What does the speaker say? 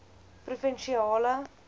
provinsiale